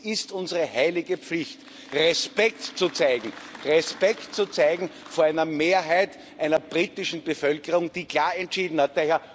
Und es ist unsere heilige Pflicht, Respekt zu zeigen vor einer Mehrheit einer britischen Bevölkerung, die klar entschieden hat.